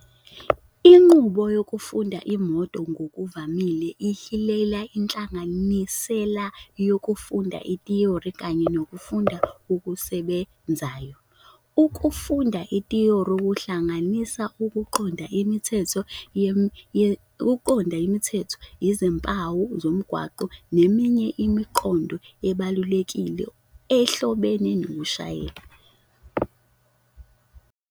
Inqubo yokufunda imoto ngokuvamile ihilela inhlanganisela yokufunda ithiyori kanye nokufunda okusebenzayo. Ukufunda ithiyori kuhlanganisa ukuqonda imithetho yomgwaqo, izimpawu zomgwaqo, neminye imiqondo ebalulekile ehlobene nokushayela.